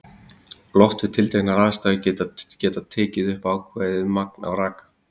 Loft við tilteknar aðstæður getur tekið upp ákveðið magn af raka.